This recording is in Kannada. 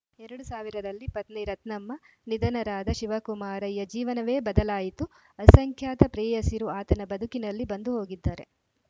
ಎರಡ್ ಸಾವಿರ ರಲ್ಲಿ ಪತ್ನಿ ರತ್ನಮ್ಮ ನಿಧನರಾದ ಶಿವಕುಮಾರಯ್ಯ ಜೀವನವೇ ಬದಲಾಯಿತು ಅಸಂಖ್ಯಾತ ಪ್ರೇಯಸಿಯರು ಆತ ಬದುಕಿನಲ್ಲಿ ಬಂದು ಹೋಗಿದ್ದಾರೆ